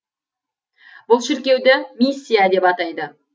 бұл шіркеуді миссия деп атайды